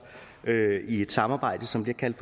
i et samarbejde som bliver kaldt